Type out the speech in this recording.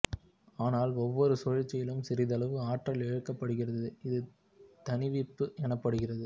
ஆனால் ஒவ்வொரு சுழற்சியிலும் சிறிதளவு ஆற்றல் இழக்கப்படுகிறது இது தணிவிப்பு எனப்படுகிறது